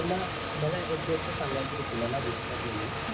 मला एक गोष्ट सांगायचे जे तुम्हाला दुसरा म्हणून